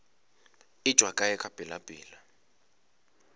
e tšwa kae ka pelapela